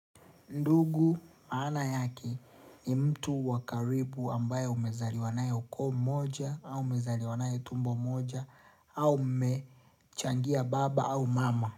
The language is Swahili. Ndugu maana yake ni mtu wa karibu ambaye umezaliwa naye ukoo mmoja au umezaliwa naye tumbo moja au mmechangia baba au mama.